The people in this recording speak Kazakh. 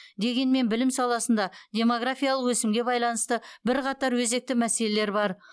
дегенмен білім саласында демографиялық өсімге байланысты бірқатар өзекті мәселелер бар